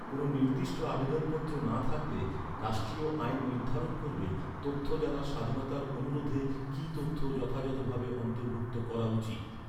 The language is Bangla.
কোনও নির্দিষ্ট আবেদনপত্র না থাকলে, রাষ্ট্রীয় আইন নির্ধারণ করবে, তথ্য জানার স্বাধীনতার অনুরোধে, কী তথ্য যথাযথ ভাবে অন্তর্ভুক্ত করা উচিত।